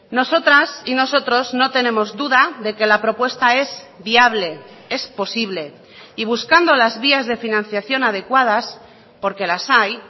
nosotras y nosotros no tenemos duda de que la propuesta es viable es posible y buscando las vías de financiación adecuadas porque las hay